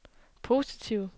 positive